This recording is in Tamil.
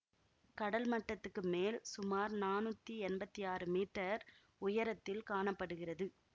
கடல் மட்டத்துக்கு மேல் சுமார் நானூத்தி எம்பத்தி ஆறு மீட்டர் உயரத்தில் காண படுகிறது